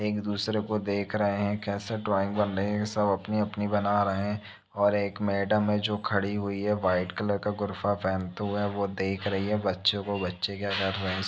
एक दूसरे को देख रहै हैं कैसे ड्राइंग बन रही सब अपनी अपनी बना रहै हैं और एक मैडम है जो खड़ी हुई है व्हाइट कलर का गुर्फा पहनते हुए वो देख रही है बच्चों को बच्चे क्या कर रहै हैं इसमें --